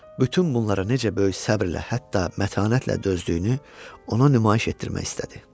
Bütün bunlara necə böyük səbrlə, hətta mətanətlə dözdüyünü ona nümayiş etdirmək istədi.